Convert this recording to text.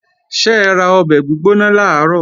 Ṣẹra ọbẹ̀ gbígbóná làárọ̀?